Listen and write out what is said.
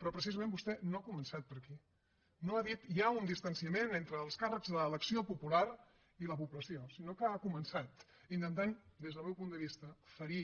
però precisament vostè no ha començat per aquí no ha dit hi ha un distanciament entre els càrrecs d’elecció popular i la població sinó que ha començat intentant des del meu punt de vista ferir